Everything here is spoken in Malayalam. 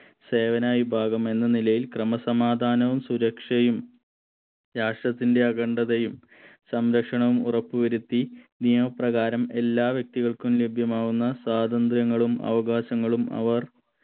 സേവനായി ഭാഗം എന്ന നിലയിൽ ക്രമസമാധാനവും സുരക്ഷയും രാഷ്ട്രത്തിന്റെ അഖണ്ഡതയും സംരക്ഷണവും ഉറപ്പുവരുത്തി നിയമപ്രകാരം എല്ലാ വ്യക്തികൾക്കും ലഭ്യമാവുന്ന സ്വാതന്ത്രങ്ങളും അവകാശങ്ങളും അവർ